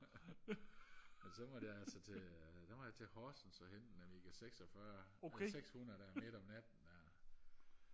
og så måtte jeg altså til så måtte jeg Horsens og hente en Amiga seksogfyrre eller sekshundrede der midt om natten der